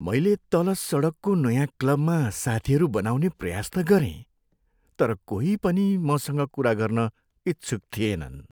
मैले तल सडकको नयाँ क्लबमा साथीहरू बनाउने प्रयास त गरेँ, तर कोही पनि मसँग कुरा गर्न इच्छुक थिएनन्।